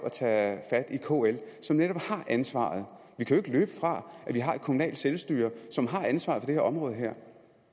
at tage fat i kl som netop har ansvaret vi kan ikke løbe fra at vi har et kommunalt selvstyre som har ansvaret her område